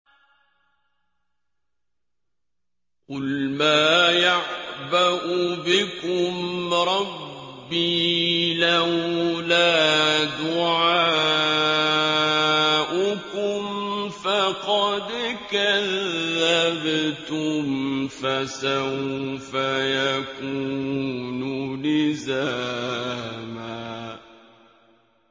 قُلْ مَا يَعْبَأُ بِكُمْ رَبِّي لَوْلَا دُعَاؤُكُمْ ۖ فَقَدْ كَذَّبْتُمْ فَسَوْفَ يَكُونُ لِزَامًا